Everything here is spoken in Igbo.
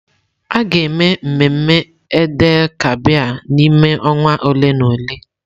A ga-eme mmemme Eid-el-Kabir n'ime ọnwa ole na ole.